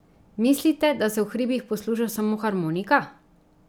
Mislite, da se v hribih posluša samo harmonika?